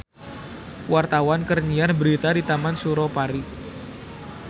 Wartawan keur nyiar berita di Taman Suropari